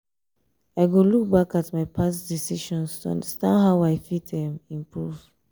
i go look back at my past decisions to understand how i fit um improve.